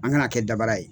An kana kɛ dabara ye